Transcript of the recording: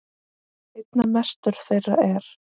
Einna mestur þeirra er